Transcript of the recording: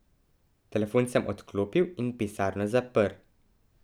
Telefon sem odklopil in pisarno zaprl.